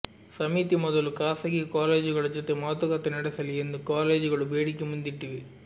ಸಮಿತಿ ಮೊದಲು ಖಾಸಗಿ ಕಾಲೇಜುಗಳ ಜೊತೆ ಮಾತುಕತೆ ನಡೆಸಲಿ ಎಂದು ಕಾಲೇಜುಗಳು ಬೇಡಿಕೆ ಮುಂದಿಟ್ಟಿವೆ